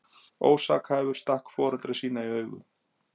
Ósakhæfur stakk foreldra sína í augu